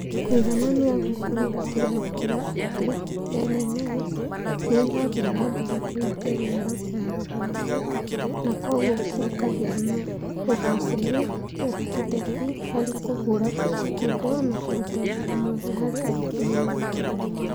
Kũiganania gũkũ nĩ gũtigagĩrĩra atĩ LMS nĩ ĩrathiĩ na mbere kũhingia mĩoroto ya rũhonge, na kwoguo gũkagĩa na ũgaacĩru, ũhotekeku harĩ kũgũra indo na kũruta wĩra mwega harĩ aruti wĩra othe.